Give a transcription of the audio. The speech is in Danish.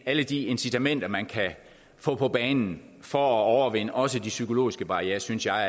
alle de incitamenter man kan få på banen for at overvinde også de psykologiske barrierer synes jeg